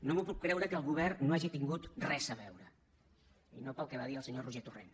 no m’ho puc creure que el govern no hi hagi tingut res a veure i no pel que va dir el senyor roger torrent